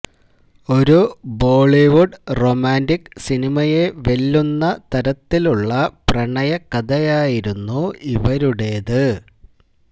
ഒരു Bollywood romantic സിനിമയെ വെല്ലുന്ന തരത്തിലുള്ള പ്രണയ കഥയായിരുന്നു ഇവരുടേത്